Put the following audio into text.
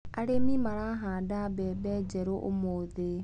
Arĩmi marahanda mbembe njerũ ũmũthĩ.